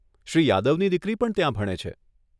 શ્રી યાદવની દીકરી પણ ત્યાં ભણે છે.